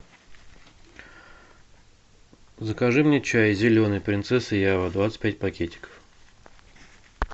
закажи мне чай зеленый принцесса ява двадцать пять пакетиков